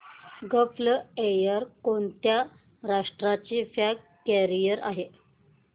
gulf Air कोणत्या राष्ट्राची flag carrier आहे